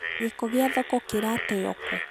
Gĩko gia thoko kĩrateyo kũũ.